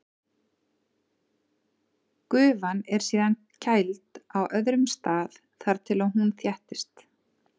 Gufan er síðan kæld á öðrum stað þar til hún þéttist.